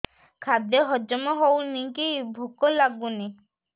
ଖାଦ୍ୟ ହଜମ ହଉନି କି ଭୋକ ଲାଗୁନି